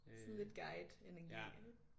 Sådan lidt guide energi